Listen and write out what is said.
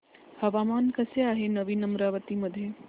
हवामान कसे आहे नवीन अमरावती मध्ये